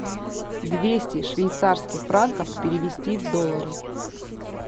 двести швейцарских франков перевести в доллары